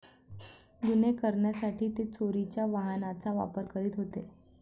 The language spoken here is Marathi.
गुन्हे करण्यासाठी ते चोरीच्या वाहनांचा वापर करीत होते.